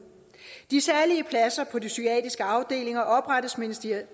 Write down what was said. de særlige pladser på de psykiatriske afdelinger oprettes